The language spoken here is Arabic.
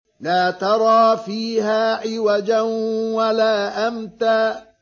لَّا تَرَىٰ فِيهَا عِوَجًا وَلَا أَمْتًا